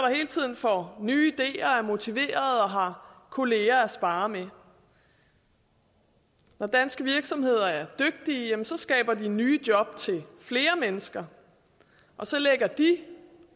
hele tiden får nye ideer er motiverede og har kolleger at sparre med når danske virksomheder er dygtige skaber de nye job til flere mennesker og så lægger de